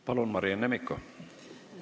Palun, Marianne Mikko!